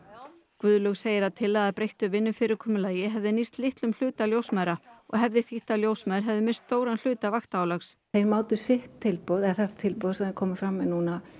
Guðlaug segir að tillaga að breyttu vinnufyrirkomulagi hefði nýst litlum hluta ljósmæðra og hefði þýtt að ljósmæður hefði misst stóran hluta vaktaálags þeir mátu sitt tilboð eða þetta tilboð sem þeir komu fram með núna